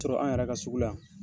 Sɔsɔ an yɛrɛ ka sugu la yan.